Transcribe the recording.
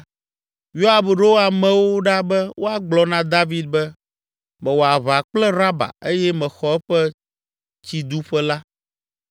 Yoab ɖo amewo ɖa be woagblɔ na David be, “Mewɔ aʋa kple Raba eye mexɔ eƒe tsiduƒe la.